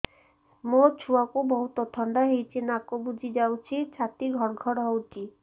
ମୋ ଛୁଆକୁ ବହୁତ ଥଣ୍ଡା ହେଇଚି ନାକ ବୁଜି ଯାଉଛି ଛାତି ଘଡ ଘଡ ହଉଚି